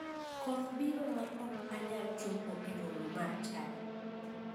Koth biro ma ok anyal chopo e romo mar chadi.